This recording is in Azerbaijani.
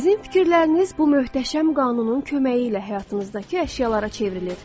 Sizin fikirləriniz bu möhtəşəm qanunun köməyi ilə həyatınızdakı əşyalara çevrilir.